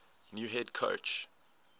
new head coach